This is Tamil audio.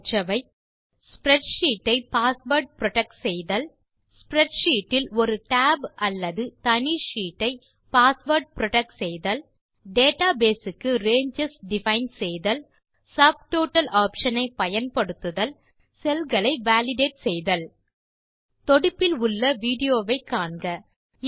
நாம் கற்றவை ஸ்ப்ரெட்ஷீட் ஐ பாஸ்வேர்ட் புரொடெக்ட் செய்தல் ஸ்ப்ரெட்ஷீட் இல் ஒரு டேப் அல்லது தனி ஷீட்டை ஐ பாஸ்வேர்ட் புரொடெக்ட் செய்தல் டேட்டாபேஸ் க்கு ரேஞ்சஸ் டிஃபைன் செய்தல் சப்டோட்டல் ஆப்ஷன் ஐ பயன்படுத்துதல் செல் களை வாலிடேட் செய்தல் தொடுப்பில் உள்ள விடியோ வை காண்க